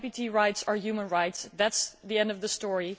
LGBT rights are human rights and that is the end of the story.